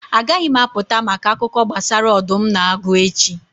Agaghị m apụta maka akụkọ gbasara ọdụm na agụ echi.